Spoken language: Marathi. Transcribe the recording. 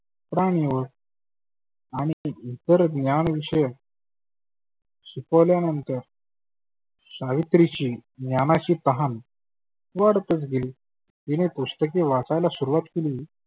प्राणि व आणि इतर ज्ञान विषय शिकवल्यानंतर सावित्रीची ज्ञानाची कमान वाढतच गेली तीने पुस्तके वाचायला सुरुवात केली.